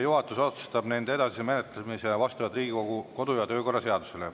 Juhatus otsustab nende edasise menetlemise vastavalt Riigikogu kodu‑ ja töökorra seadusele.